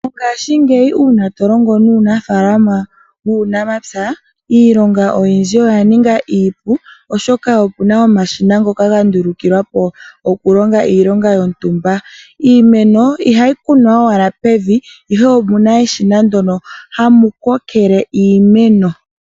Mongashingeyi uuna tolongo nuunafalama wuunamapya iilonga oyindji oya ninga iipu, oshoka opu na omashina ngoka haga vulu okulonga iilonga yontumba. Iimeno ihayi kunwa owala pevi, ihe opu na eshina ndyoka hali kokeke iimeno.